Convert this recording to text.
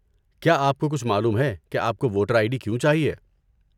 کیا آپ کو کچھ معلوم ہے کہ آپ کو ووٹر آئی ڈی کیوں چاہیے؟